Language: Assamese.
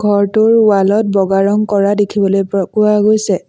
ঘৰটোৰ ৱাল ত বগা ৰং কৰা দেখিবলৈ প্ৰ পোৱা গৈছে।